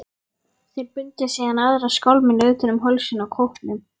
Þeir bundu síðan aðra skálmina utan um hálsinn á kópnum.